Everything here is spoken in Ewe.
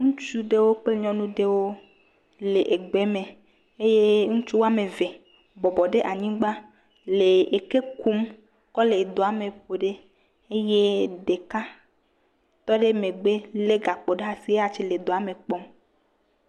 Ŋutsu aɖewo kple nyɔnu aɖewo le egbe me eye ŋutsu wɔme eve bɔbɔ ɖe anyigba le eke kum kɔ le doa me ƒo ɖi eye ɖeka tɔ ɖe megbe le gakpo le asi eya tse le doa me kpɔm.